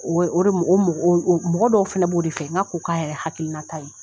O o mɔgɔ dɔw fɛnɛ b' o de fɛ, n' ka k' k'a yɛrɛ hakilinata ye.